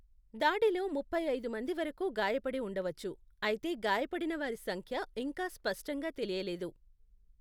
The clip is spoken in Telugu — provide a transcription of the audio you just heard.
దాడిలో ముప్పై ఐదు మంది వరకు గాయపడి ఉండవచ్చు, అయితే గాయపడిన వారి సంఖ్య ఇంకా స్పష్టంగా తెలియలేదు.